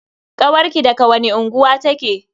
Kawarki daga wani unguwa take?